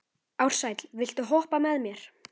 Ársæll, viltu hoppa með mér?